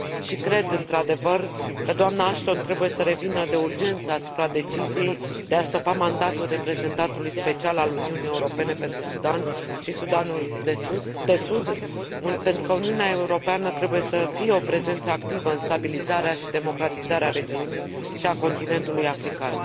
Și cred, într adevăr, că doamna Ashton trebuie să revină de urgență asupra deciziei de a stopa mandatul Reprezentantului Special al Uniunii Europene pentru Sudan și Sudanul de Sud, pentru că Uniunea Europeană trebuie să fie o prezență activă în stabilizarea și democratizarea regiunii și a continentului african.